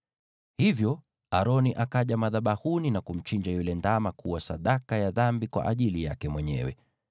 Hivyo Aroni akaja madhabahuni na kumchinja yule ndama kuwa sadaka ya dhambi kwa ajili yake mwenyewe.